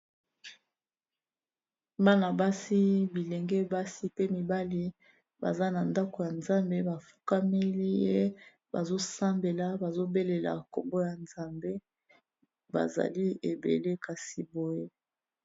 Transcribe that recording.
Bana basi bilenge basi pe mibali baza na ndako ya nzambe ba fukameli ye bazo sambela bazo belela kombo ya nzambe bazali ebele kasi boye.